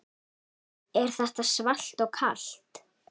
Er þetta svalt og kalt?